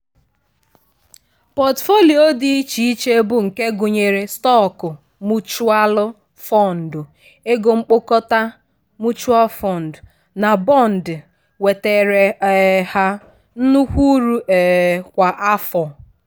pọtụfoliyo dị iche iche bụ nke gụnyere stọọkụ muchualụ fọndụ/ego mkpokọta (mutual fund) na bọndị wetaara um ha nnukwu uru um kwa afọ.